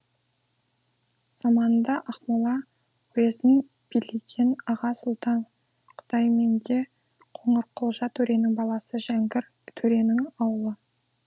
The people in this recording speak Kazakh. заманында ақмола уезін билеген аға сұлтан құдайменде қоңырқұлжа төренің баласы жәңгір төренің ауылы